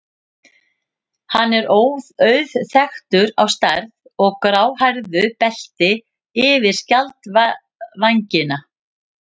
Hann er auðþekktur á stærð og gráhærðu belti yfir skjaldvængina.